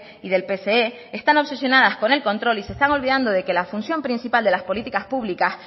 y del pse están obsesionadas con el control y se están olvidando de que la función principal de las políticas públicas